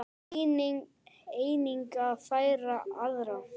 Einnig að fræða aðra.